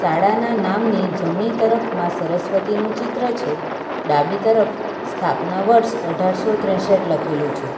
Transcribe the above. શાળાના નામની જમણી તરફ માઁ સરસ્વતીનું ચિત્ર છે ડાબી તરફ સ્થાપના વર્ષ અઢાર સો ત્રેસઠ લખેલું છે.